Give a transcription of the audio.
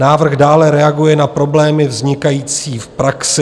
Návrh dále reaguje na problémy vznikající v praxi.